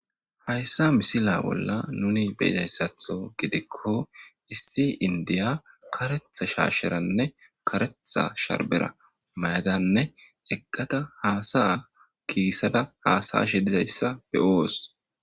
Haysa misila bolla nun beyizaysatho gidikon issi indiya karetha shaasheranne karetha sharbera mayadanne eqada hasa'a kisada hasa'ashe dizaysa beyos.